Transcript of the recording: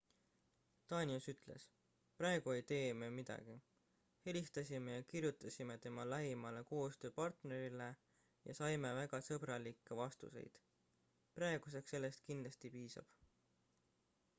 danius ütles praegu ei tee me midagi helistasime ja kirjutasime tema lähimale koostööpartnerile ja saime väga sõbralikke vastuseid praeguseks sellest kindlasti piisab